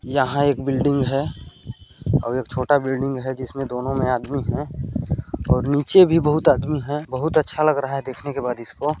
यहाँ एक बिल्डिंग है और एक छोटा बिल्डिंग है जिसमें दोनों में आदमी है और नीचे भी बहुत आदमी है बहुत अच्छा लग रहा हैं दिखने के बाद ईसको।